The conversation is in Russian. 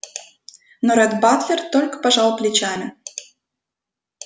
но ретт батлер только пожал плечами